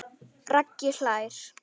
Raggi hlær.